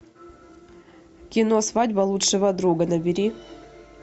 кино свадьба лучшего друга набери